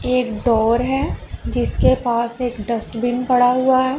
एक डोर है जिसके पास एक डस्टबीन पड़ा हुआ--